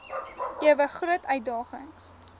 ewe groot uitdagings